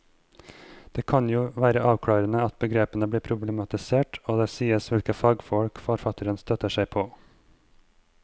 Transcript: Det kan jo være avklarende at begrepene blir problematisert og at det sies hvilke fagfolk forfatteren støtter seg på.